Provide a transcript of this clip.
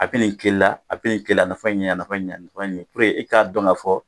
A bɛ nin k'i la a bɛ nin k'i la a nafa ye nin ye a nafa ye nin ye i k'a dɔn k'a fɔ